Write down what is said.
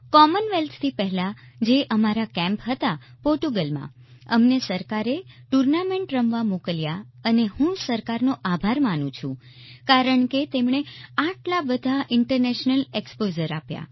કોમનવેલ્થથી પહેલા જે અમારા કેમ્પ હતા પોર્ટુગલમાં અમને સરકારે ટુર્નામેન્ટ રમવા મોકલ્યા અને હું સરકારનો આભાર માનું છું કારણ કે તેમણે આટલા બધા ઇન્ટરનેશનલ એકસ્પોઝર આપ્યા